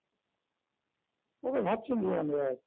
ওরা ভাবছেন যে আমরা